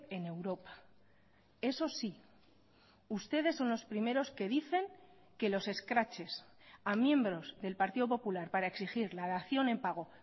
en europa eso sí ustedes son los primeros que dicen que los escraches a miembros del partido popular para exigir la dación en pago